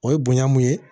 O ye bonya mun ye